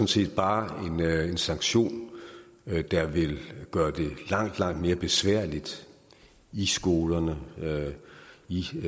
set bare en sanktion der vil gøre det langt langt mere besværligt i skolerne i